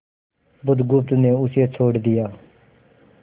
बुधगुप्त ने उसे छोड़ दिया